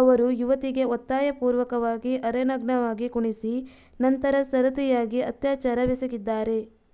ಅವರು ಯುವತಿಗೆ ಒತ್ತಾಯಪೂರ್ವಕವಾಗಿ ಅರೆನಗ್ನವಾಗಿ ಕುಣಿಸಿ ನಂತರ ಸರತಿಯಾಗಿ ಅತ್ಯಾಚಾರವೆಸಗಿದ್ದಾರೆ